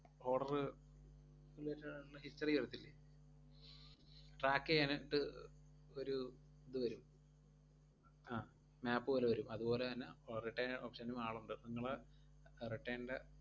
order related ആയിട്ടൊള്ള history വരത്തില്ലേ? track ചെയ്യാനായിട്ട് ഒരു ഇത് വരും അഹ് map പോലെ വെരും, അതുപോലെ തന്നെ ഏർ return option ഉം ആളൊണ്ട്. നിങ്ങളെ return ൻറെ